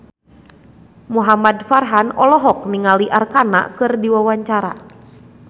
Muhamad Farhan olohok ningali Arkarna keur diwawancara